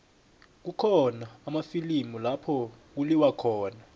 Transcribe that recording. kukhona amafilimu lapho kuliwa khona